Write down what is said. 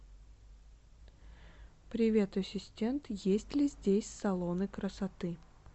привет ассистент есть ли здесь салоны красоты